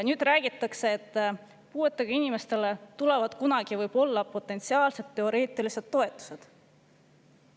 Nüüd räägitakse, et puuetega inimestele tulevad ehk kunagi – potentsiaalselt, teoreetiliselt – toetused.